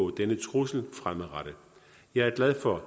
denne trussel fremadrettet jeg er glad for